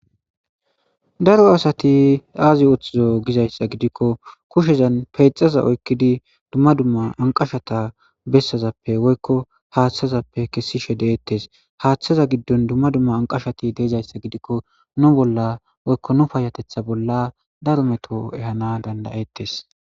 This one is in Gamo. Daro asathi aziuththido gizayssa gidikko kushezan keeththaza oykkidi dumma dumma anqqashata besazappe woykko haaththazappe kessishe de7eeththees;haaththa giddon dumma dumma anqqashathi dezaysse gidikko nu bolla woykko nu payyaththeththa bolla daro meto ehaana dandda7eththes.